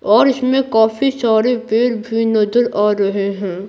और इसमें काफी सारे पेर भी नजर आ रहे हैं।